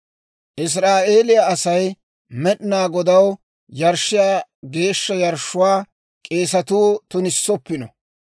Israa'eeliyaa Asay Med'inaa Godaw yarshshiyaa geeshsha yarshshuwaa k'eesatuu tunissoppino.